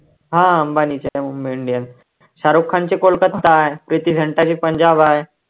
हा अंबानीची आहे मुंबई इंडियन्स. शाहरुख खानची कोलकत्ता आहे, प्रीती झिंटाची पंजाब आहे.